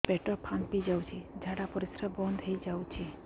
ପେଟ ଫାମ୍ପି ଯାଉଛି ଝାଡା ପରିଶ୍ରା ବନ୍ଦ ହେଇ ଯାଉଛି